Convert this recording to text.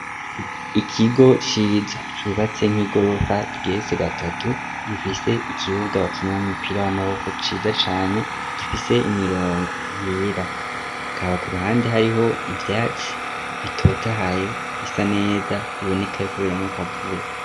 Ikigo ciza cubatse nk'igorofa igeretse gatatu, gifise ikibuga bakiniramwo umupira w'amaboko ciza cane gifise imirongo yera, hakaba ku ruhande hariho ivyatsi bitotahaye bisa neza biboneka yuko bironka akavura.